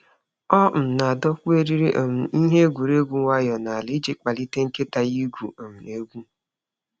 Ọ um na-adọkpụ eriri um ihe egwuregwu nwayọọ n’ala iji kpalite nkịta ya igwu um egwu.